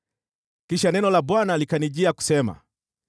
Kisha neno la Bwana likanijia kusema: